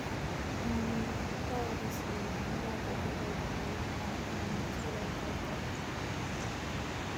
um after all dis years i never get over jide i um too like dat guy